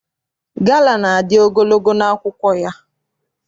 Gala na-adị ogologo n'akwụkwọ ya.